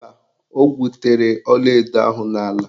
Mba, o gwutere ọlaedo ahụ n'ala.